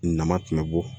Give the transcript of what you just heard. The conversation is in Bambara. Nama tun bɛ bɔ